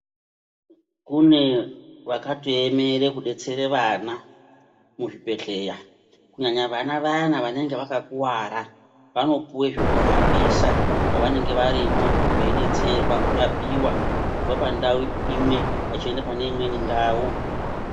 Kune vakatoemere kudetsereka vana muzvibhedhlera, kunyanya vana vayani vanenge vakakuwara vanopuwe zvekuhambisa pavanenge varimwo veidetserwa kurapiwa kubva pandau imwe vachienda pane imweni ndau.